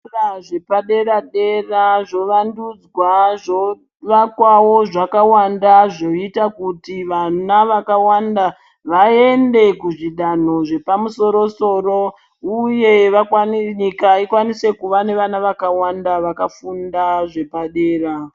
Zvikora zvepadera-dera zvovandudzwa zvovakwawo zvakawanda zvoita kuti vana vakawanda vaende kuzvidanho zvapamusoro-soro uye nyika ikwanise kuva nevana vakawanda vakafunda zvepadera.